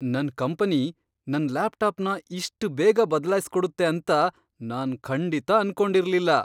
ನನ್ ಕಂಪನಿ ನನ್ ಲ್ಯಾಪ್ಟಾಪ್ನ ಇಷ್ಟ್ ಬೇಗ ಬದಲಾಯ್ಸ್ಕೊಡತ್ತೆ ಅಂತ ನಾನ್ ಖಂಡಿತ ಅನ್ಕೊಂಡಿರ್ಲಿಲ್ಲ.